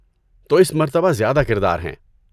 تو اس مرتبہ زیادہ کردار ہیں۔